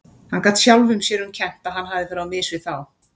Hann gat sjálfum sér um kennt að hann hafði farið á mis við þá.